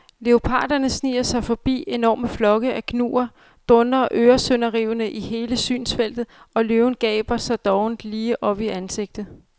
Leoparderne sniger sig lige forbi, enorme flokke af gnuer dundrer øresønderrivende i hele synsfeltet og løven gaber dig dovent lige op i ansigtet.